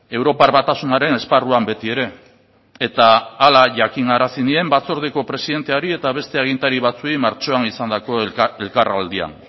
europar batasunaren esparruan beti ere eta hala jakinarazi nien batzordeko presidenteari eta beste agintari batzuei martxoan izandako elkarraldian